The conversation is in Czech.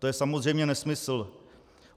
To je samozřejmě nesmysl.